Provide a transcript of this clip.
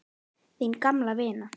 Þín gamla vina